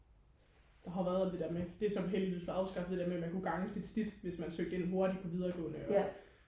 har været alt det der med det er så heldigvis blevet afskaffet det der med man kunne gange sit snit hvis man søgte ind hurtigt på videregående og